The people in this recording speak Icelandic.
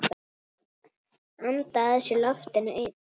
Anda að sér loftinu ein.